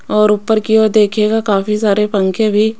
और ऊपर की ओर देखिएगा काफी सारे पंखे भी--